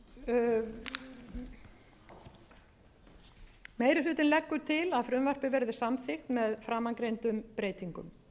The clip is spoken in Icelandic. meiri hlutinn leggur til að frumvarpið verði samþykkt með framangreindum breytingum